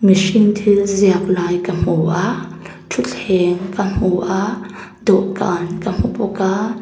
mihring thil ziak lai ka hmu a thutthleng ka hmu a dawhkan ka hmu bawk a.